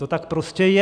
To tak prostě je.